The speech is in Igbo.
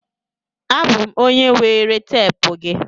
Abụ m onye were teepu gị.